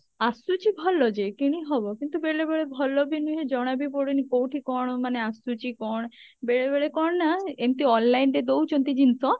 ଆସୁଛି ଭଲ ଯେ କିଣିହବ କିନ୍ତୁ ବେଳେ ବେଳେ ଭଲ ବି ନୁହେଁ ଜଣା ବି ପଡୁନି କଉଠି କଣ ମାନେ ଆସୁଛି କଣ ବେଳେବେଳେ କଣ ନା ଏମିତି online ରେ ଦଉଛନ୍ତି ଜିନିଷ